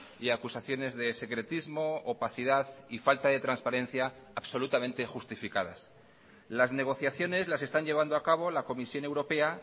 y acusaciones de secretismo opacidad y falta de transparencia absolutamente justificadas las negociaciones las están llevando a cabo la comisión europea